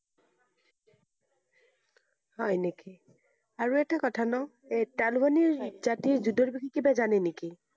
হয় নেকি? আৰু এটা কথা ন, এৰ তালিবানি জাতিৰ বিষয়ে কিবা জানে নেকি?